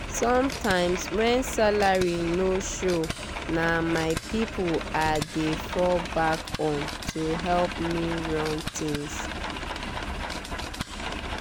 sometimes when salary no show na my people i dey fall back on to help me run things.